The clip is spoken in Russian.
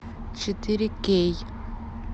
четыре кей